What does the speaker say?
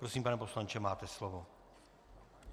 Prosím, pane poslanče, máte slovo.